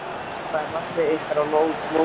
Hvert er markmið ykkar á mótinu?